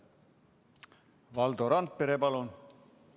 Valdo Randpere, palun!